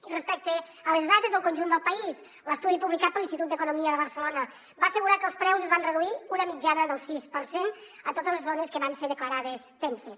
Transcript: i respecte a les dades del conjunt del país l’estudi publicat per l’institut d’economia de barcelona va assegurar que els preus es van reduir una mitjana del sis per cent a totes les zones que van ser declarades tenses